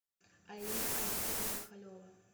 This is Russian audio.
алина олеговна михалева